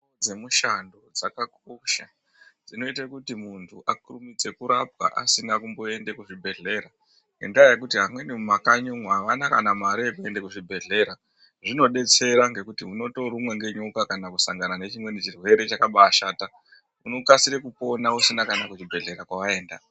Dzemushango dzakakosha dzinoite kuti muntu akurumidze kurapwa asina kumboenda kuzvibhedhlera ngendaa yekuti amweni mumakanyi umwo aana kana mare yekuenda kuzvibhedhlera zvinodetsera ngekuti unotorumwa ngenyoka kana kusangana nechimweni chirwere chakabaashata unokasira kupona usina kuchibhedhlera kwawaenda.